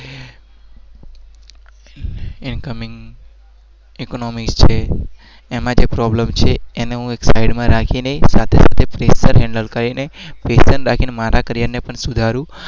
economics છે